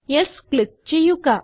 yes click ചെയ്യുക